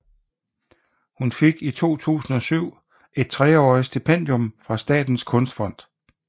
Hun fik i 2007 et treårigt stipendium fra Statens Kunstfond